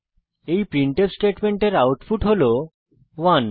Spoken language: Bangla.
এই প্রিন্টফ স্টেটমেন্টের আউটপুট হল 1